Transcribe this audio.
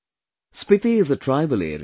Spiti is a tribal area